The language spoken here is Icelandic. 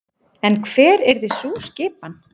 En hver yrði sú skipan?